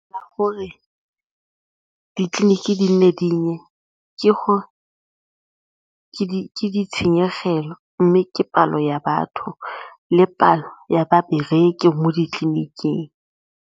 Ka gore ditleliniki di nne dinnye ke gore ke ditshenyegelo mme ke palo ya batho le palo ya babereki mo ditleniking.